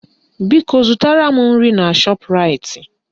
Biko zụtara m nri na Shọpraịt